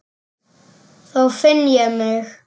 Þá finn ég mig.